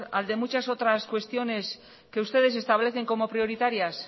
al de muchas otras cuestiones que ustedes establecen como prioritarias